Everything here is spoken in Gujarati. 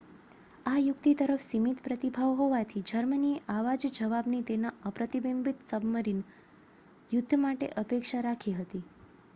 આ યુક્તિ તરફ સીમિત પ્રતિભાવ હોવાથી જર્મનીએ આવા જ જવાબની તેના અપ્રતિબંધિત સબમરીન યુદ્ધ માટે અપેક્ષા રાખી હતી